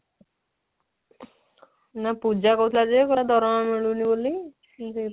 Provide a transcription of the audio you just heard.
ନା ପୂଜା କହୁଥିଲା ଯେ କହିଲା ଦରମା ମିଲୁନି ବୋଲି ମୁଁ ସେଇ କଥା